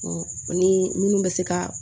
ni minnu bɛ se ka